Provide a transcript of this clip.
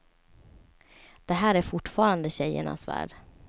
Det här är fortfarande tjejernas värld.